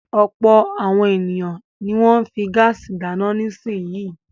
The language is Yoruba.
Ọ̀pọ̀ àwọn ènìyàn ni wọ́n ń fi gáásì dáná nísìnyí.